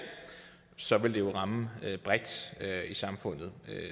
så ville det jo ramme bredt i samfundet